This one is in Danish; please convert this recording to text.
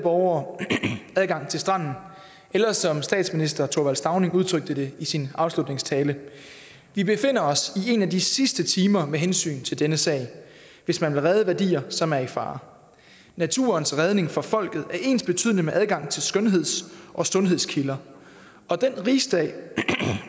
borgere adgang til stranden eller som statsminister thorvald stauning udtrykte det i sin afslutningstale vi befinder os i en af de sidste timer med hensyn til denne sag hvis man vil redde værdier som er i fare naturens redning for folket er ensbetydende med adgang til skønheds og sundhedskilder og den rigsdag